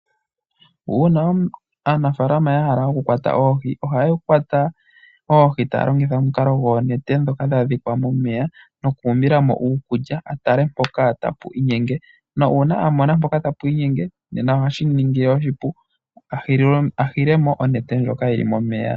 Ujna aanafaalama yahala oku kwata oohi ohaya kwata oobi taya longitha omukalo gwoonete ndhoka dha dhikwa momeya, noku umbilamo uukulya atale mpoka tapu inyenge nuuna amona mpoka tapu inyenge nena ohashi mu ningile oshipu ahilemo onete ndjoka yili momeya.